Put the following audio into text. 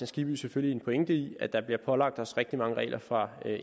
skibby selvfølgelig en pointe i at der bliver pålagt os rigtig mange regler fra